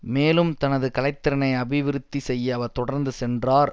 மேலும் தனது கலைத்திறனை அபிவிருத்தி செய்ய அவர் தொடர்ந்து சென்றார்